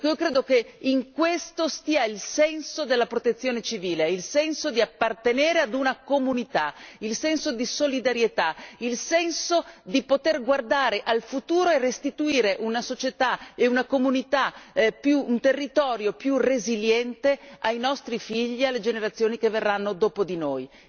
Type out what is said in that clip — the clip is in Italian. Credo che in questo stia il senso della protezione civile, il senso di appartenere ad una comunità, il senso di solidarietà, il senso di poter guardare al futuro e restituire una società e una comunità e un territorio più resiliente ai nostri figli e alle generazioni che verranno dopo di noi.